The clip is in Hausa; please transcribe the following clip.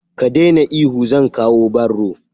Ka daina ihu, zan kawo barro.